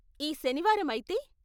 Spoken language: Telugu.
ఈ శనివారం అయితే?